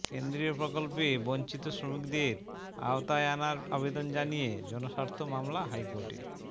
কেন্দ্রীয় প্রকল্পে বঞ্চিত শ্রমিকদের আওতায় আনার আবেদন জানিয়ে জনস্বার্থ মামলা হাইকোর্টে